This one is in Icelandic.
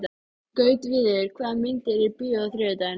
Gautviður, hvaða myndir eru í bíó á þriðjudaginn?